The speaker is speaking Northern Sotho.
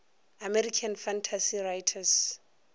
american fantasy writers